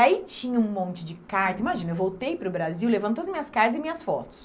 Aí tinha um monte de carta, imagina, Eu voltei para o Brasil levando todas as minhas cartas e fotos.